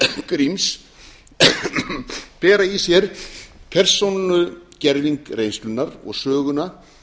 gríms bera í sér persónugerving reynslunnar og söguna